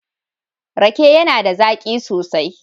Rake yAna da zaki sosai